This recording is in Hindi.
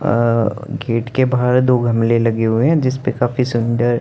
अ गेट के बाहर दो गमले लगे हुए हैं जिस पे काफी सुन्दर--